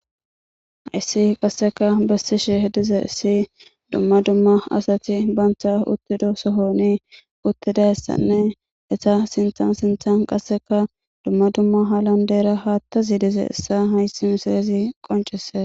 issi qasseka bessishe dizayissi dumma dumma asati baantha uttido sohoni uttidayessanne eta sinthan sinthan qasseka dumma dumma halan deera haattazi dize issa haysi misilizi qoncises